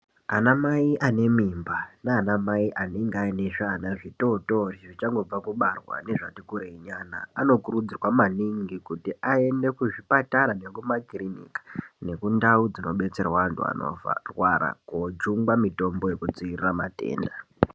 Anamai ane mimba nana mai anenge aine zvana zvitotori zvichangobva kubarwa nezvati kureinyana anokurudzirwa maningi kuti aende kuzvipatara nekumakiriniki nekundau dzinobetserwa antu anorwara kojungwa mitombo yekudzivirira matenda.